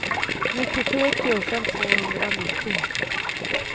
nittiosju tusen tvåhundranittio